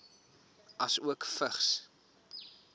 asook vigs